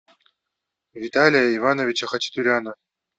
виталия ивановича хачатуряна